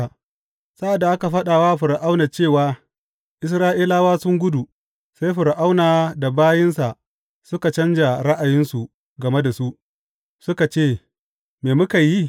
Sa’ad da aka faɗa wa Fir’auna cewa Isra’ilawa sun gudu, sai Fir’auna da bayinsa suka canja ra’ayinsu game da su, suka ce, Me muka yi?